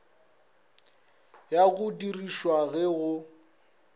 ya go dirišwa ge go